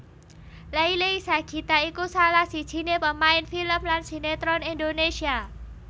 Leily Sagita iku salah sijiné pemain film lan sinetron Indonesia